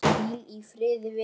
Hvíl í friði vinur.